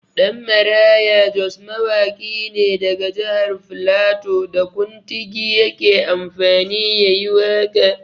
Ɗanmaraya Jos mawaƙi ne daga jahar flato, da kuntigi yake amfani ya yi waƙa.